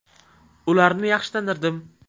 Ularni yaxshi tanirdim.